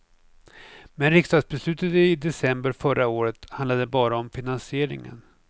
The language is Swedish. Men riksdagsbeslutet i december förra året handlade bara om finansieringen.